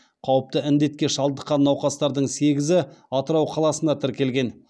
қауіпті індетке шалдыққан науқастардың сегізі атырау қаласында тіркелген